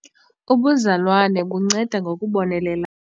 Ubuzalwane bunceda ngokubonelelana.